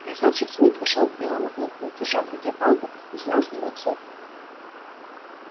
красавчик смит вошёл к белому клыку держа в руке палку и снял с него цепь